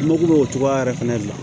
N mago bɛ o cogoya yɛrɛ fɛnɛ de la